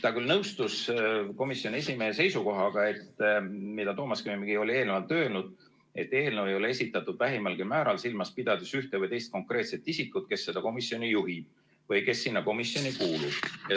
Ta küll nõustus komisjoni esimehe seisukohaga, mida Toomas Kivimägi oli eelnevalt öelnud, et eelnõu ei ole esitatud vähimalgi määral silmas pidades ühte või teist konkreetset isikut, kes seda komisjoni juhib või kes sinna komisjoni kuulub.